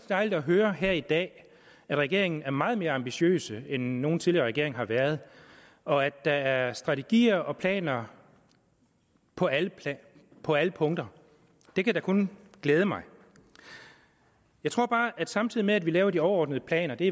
dejligt at høre her i dag at regeringen er meget mere ambitiøs end nogen tidligere regering har været og at der er strategier og planer på alle på alle punkter det kan da kun glæde mig jeg tror bare at vi samtidig med at vi laver de overordnede planer det